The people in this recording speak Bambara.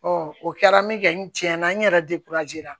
o kɛra min kɛ n tiɲɛ na n yɛrɛ la